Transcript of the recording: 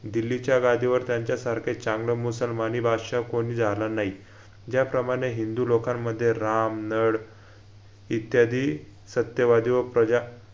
दिल्लीच्या गादीवर त्यांच्यासारखे चांगलं मुसलमानी बादशाह कोणी झालं नयी ज्याप्रमाणे हिंदू लोकांमध्ये राम नड इत्यादी सत्यवादी व प्रजा